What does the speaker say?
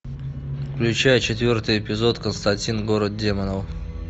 включай четвертый эпизод константин город демонов